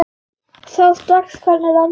Sá strax hvernig landið lá.